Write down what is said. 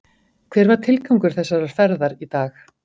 Hver var tilgangur þessarar ferðar í dag?